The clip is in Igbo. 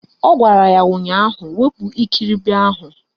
Ọ gwara ya ụnyaahụ "Wepu ikiribi ahụ"!